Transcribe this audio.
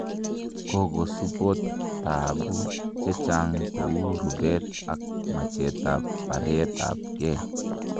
kokosupot taabu chechang kou rupet ak machet ab bareet ab geeh